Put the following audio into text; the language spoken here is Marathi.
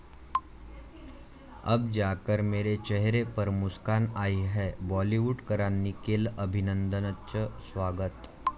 अब जाकर मेरे चेहरे पर मुस्कान आई है, बाॅलिवूडकरांनी केलं अभिनंदनचं स्वागत